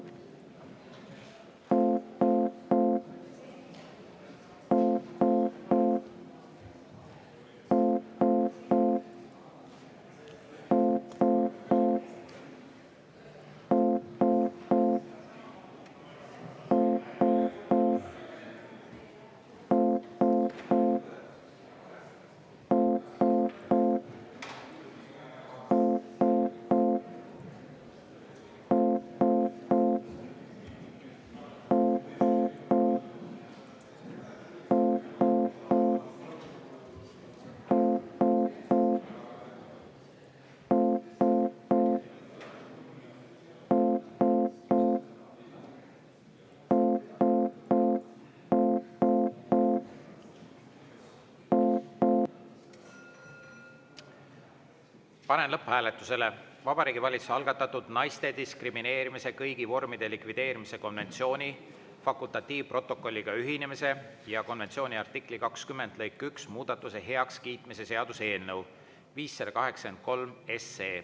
Panen lõpphääletusele Vabariigi Valitsuse algatatud naiste diskrimineerimise kõigi vormide likvideerimise konventsiooni fakultatiivprotokolliga ühinemise ja konventsiooni artikli 20 lõike 1 muudatuse heakskiitmise seaduse eelnõu .